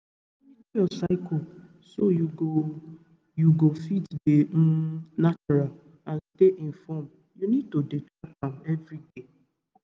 um to monitor your cycle so you go you go fit dey um natural and stay informed you need to dey track am everyday.